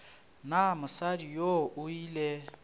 na mosadi yoo o ile